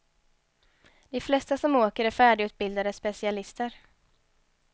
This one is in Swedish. De flesta som åker är färdigutbildade specialister.